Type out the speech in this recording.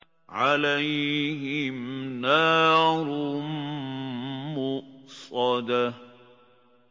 عَلَيْهِمْ نَارٌ مُّؤْصَدَةٌ